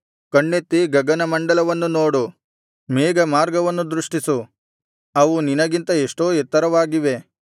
ಕಣ್ಣೆತ್ತಿ ಗಗನಮಂಡಲವನ್ನು ನೋಡು ಮೇಘಮಾರ್ಗವನ್ನು ದೃಷ್ಟಿಸು ಅವು ನಿನಗಿಂತ ಎಷ್ಟೋ ಎತ್ತರವಾಗಿವೆ